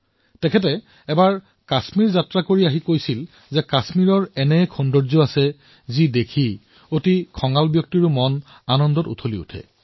তেওঁ এবাৰ কাশ্মীৰ যাত্ৰা কৰি কৈছিল যে কাশ্মীৰৰ এনে এক সৌন্দৰ্য আছে যাক দেখি অতিশয় খঙাল লোকো আনন্দত নাচি উঠিব